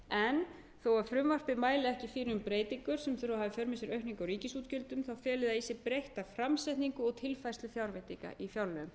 að frumvarpið mæli ekki fyrir um breytingar sem þurfi að hafa í för með sér aukningu á ríkisútgjöldum felur það í sér breytta framsetningu og tilfærslu fjárveitinga í fjárlögum